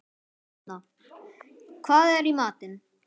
Etna, hvað er í matinn?